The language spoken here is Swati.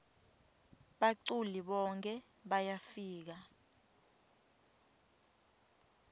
baculi bonkhe bayafika